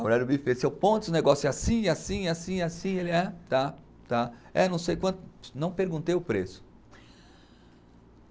A mulher do buffet, seu, o negócio é assim, assim, assim, assim, ele é, tá, tá, é não sei quanto, não perguntei o preço.